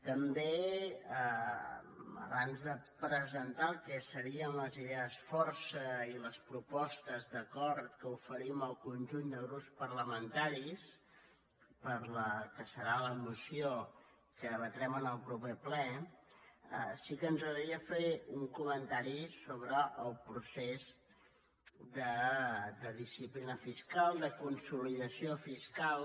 també abans de presentar el que serien les idees força i les propostes d’acord que oferim al conjunt de grups parlamentaris per a la que serà la moció que debatrem en el proper ple sí que ens agradaria fer un comentari sobre el procés de disciplina fiscal de consolidació fiscal